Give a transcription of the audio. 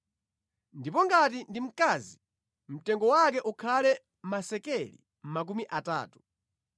Ndipo ngati ndi wamkazi, mtengo wake ukhale masekeli makumi atatu.